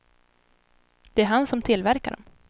Det är han som tillverkar dom.